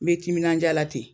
N bɛ timinadiya la ten